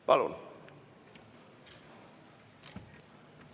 Palun!